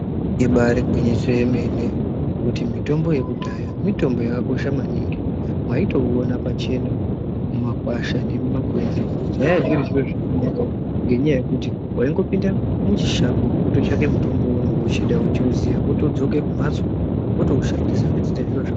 Ibari gwinyiso remene kuti mitombo yekudhaya mitombo yakakosha maningi mwaitouona pachena mumakwasha nemuma kwenzi. Zvaazviri zviro zvakanaka ngendaa yekuti vaingopinda muchishango vototsvaka mutombo weunenge uchida veiuziya votodzoke kumhatso votoushandisa votoite zviro zvako.